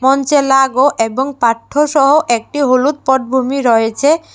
মঞ্চে লাগো এবং পাঠ্যসহ একটি হলুদ পটভূমি রয়েচে ।